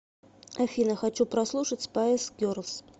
афина хочу прослушать спайс герлз